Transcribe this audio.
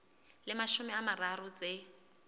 le mashome a mararo tse